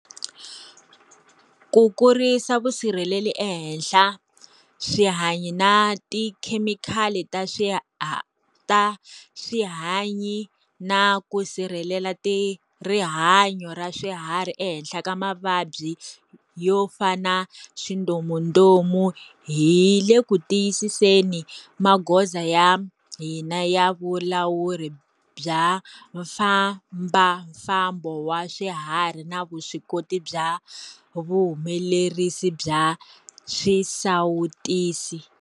Ku kurisa vusirheleri ehenhla swihanyi na tikhemikali ta swihanyi na ku sirhelela rihanyo ra swiharhi ehenhla ka mavabyi yo fana swindomundomu, hi le ku tiyiseni magoza ya hina ya vulawuri bya mfambafambo wa swiharhi na vuswikoti bya vuhumelerisi bya swisawutisi.